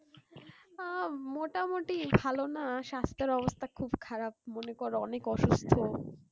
আহ মোটামুটি ভালো না সাস্থের অবস্থা খুব খারাপ মনে করো অনেক অসুস্থ